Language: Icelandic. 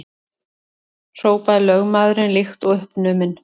hrópaði lögmaðurinn líkt og uppnuminn.